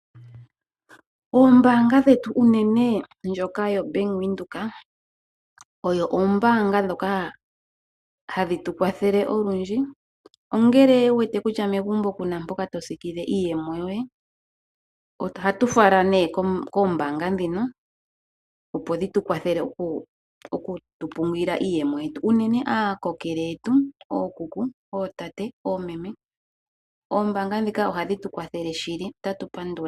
Ombaanga dhetu unene ombaanga yobank Windhoek odho oombaanga dhoka hadhi tu kwathele ngele owu wete kutya megumbo kuna mpoka tosikile iimaliwa yoye ohatu fala koombaanga dhino, opo dhi tukwatheleokupungula iiyemoyetu. Uunene aakokele yetu ookuku oomeme, ootate, oombaanga ndhika ohadhi tukwathele shili otatu pandula.